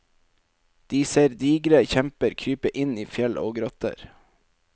De ser digre kjemper krype inn i fjell og grotter.